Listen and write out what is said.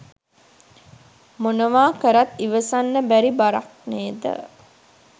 මොනවා කරත් ඉවසන්න බැරි බරක් නේද?